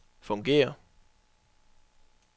fungerer